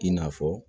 I n'a fɔ